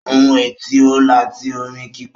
Ohun ẹ̀ tí ó láti orin kíkọ